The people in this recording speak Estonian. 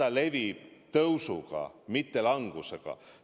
Ja levib tõusuga, mitte langusega.